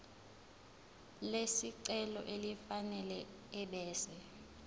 lesicelo elifanele ebese